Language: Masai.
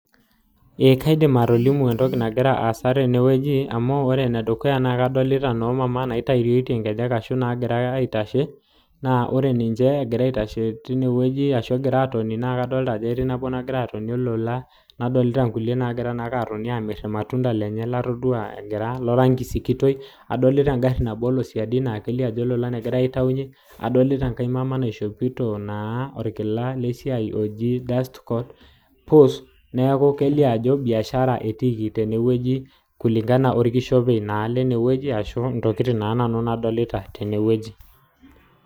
Amuu kadoolta noo mama a naagira atooni tene nadoolta naagira aitashe nadoolta naagira aitayu intokiting tengari naa ore enaa enatiu orkishopei lene naa esiai etiiki.